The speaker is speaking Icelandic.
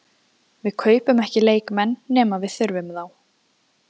Við kaupum ekki leikmenn nema við þurfum þá.